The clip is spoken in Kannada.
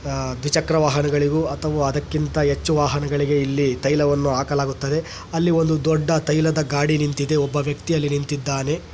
ದ್ವಿಚಕ್ರ ವಾಹನಗಳಿವು ಅಥವಾ ಅದಕ್ಕಿಂತ ಹೆಚ್ಚು ವಾಹನಗಳಿಗೆ ಇಲ್ಲಿ ತೈಲವನ್ನು ಹಾಕಲಾಗುತ್ತದೆ. ಅಲ್ಲಿ ಒಂದು ದೊಡ್ಡ ತೈಲದ ಗಾಡಿ ನಿಂತಿದೆ ಒಬ್ಬ ವ್ಯಕ್ತಿಯ ನಿಂತಿದ್ದಾನೆ.